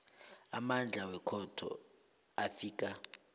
amandla wekhotho afika